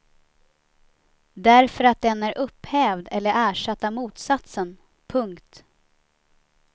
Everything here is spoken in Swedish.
Därför att den är upphävd eller ersatt av motsatsen. punkt